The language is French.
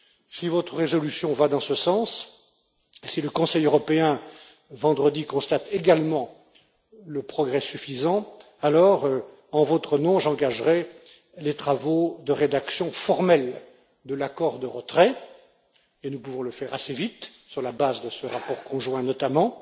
Si votre résolution va dans ce sens et si le Conseil européen constate également vendredi un progrès suffisant, j'engagerai, en votre nom, les travaux de rédaction formelle de l'accord de retrait et nous pouvons le faire assez vite sur la base de ce rapport conjoint, notamment.